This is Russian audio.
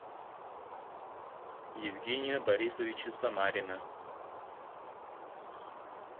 евгения борисовича самарина